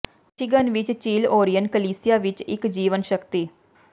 Michigan ਵਿੱਚ ਝੀਲ Orion ਕਲੀਸਿਯਾ ਵਿੱਚ ਇੱਕ ਜੀਵਣ ਸ਼ਕਤੀ